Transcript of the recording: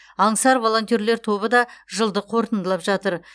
аңсар волонтерлер тобы да жылды қорытындылап жатыр